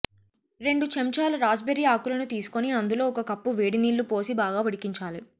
రెండు చెంచాలా రాస్బెర్రీ ఆకులను తీసుకొని అందులో ఒక కప్పు వేడినీళ్ళు పోసి బాగా ఉడికించాలి